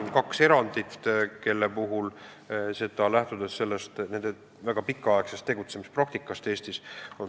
On ka kaks erandit, mis on tehtud, lähtudes kahe vahekohtu väga pikaaegsest tegutsemispraktikast Eestis.